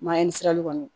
Mayɛ ni sirali kɔni